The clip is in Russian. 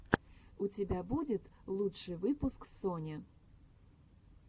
у тебя будет лучший выпуск сони